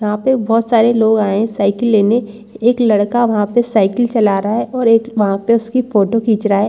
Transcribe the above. वहाँ पे बहुत सारे लोग आए है साइकिल लेने एक लड़का वहाँ पर साइकिल चला रहा है और एक वहाँ पे उसकी फोटो खींच रहा है।